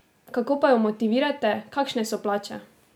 Kako pa jo motivirate, kakšne so plače?